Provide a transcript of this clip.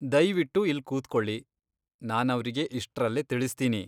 ದಯ್ವಿಟ್ಟು ಇಲ್ಲ್ ಕೂತ್ಕೊಳಿ, ನಾನವ್ರಿಗೆ ಇಷ್ಟ್ರಲ್ಲೇ ತಿಳಿಸ್ತೀನಿ.